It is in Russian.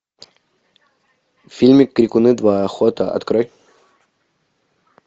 фильмик крикуны два охота открой